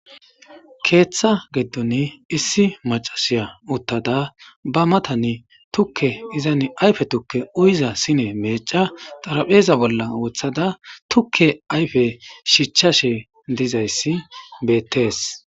keeththa giddoni issi macashiya uttada ba matani tukke izani ayfe tukke uyiza sine meeca xarapheeza bolla woththada tukke ayfe shichashe dizayssi beettes